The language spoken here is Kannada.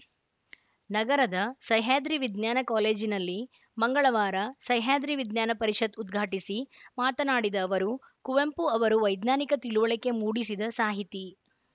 ನಗರದ ಸಹ್ಯಾದ್ರಿ ವಿಜ್ಞಾನ ಕಾಲೇಜಿನಲ್ಲಿ ಮಂಗಳವಾರ ಸಹ್ಯಾದ್ರಿ ವಿಜ್ಞಾನ ಪರಿಷತ್‌ ಉದ್ಘಾಟಿಸಿ ಮಾತನಾಡಿದ ಅವರು ಕುವೆಂಪು ಅವರು ವೈಜ್ಞಾನಿಕ ತಿಳಿವಳಿಕೆ ಮೂಡಿಸಿದ ಸಾಹಿತಿ